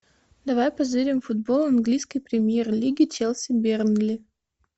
давай позырим футбол английской премьер лиги челси бернли